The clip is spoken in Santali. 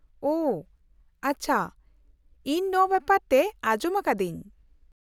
-ᱚᱦᱚ, ᱟᱪᱪᱷᱟ, ᱤᱧ ᱱᱚᱶᱟ ᱵᱮᱯᱟᱨ ᱛᱮ ᱟᱡᱚᱢ ᱟᱠᱟᱫᱟᱹᱧ ᱾